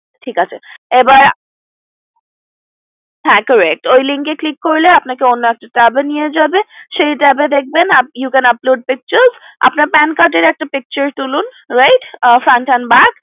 হ্যা Correct ওই link click করলে আপনাকে অন্য একটা tab এ নিয়ে যাবে সেই tab এ দেখবেন you can upload a picture আপনার PAN Card এর একটা পিকচার তুলুন right front and back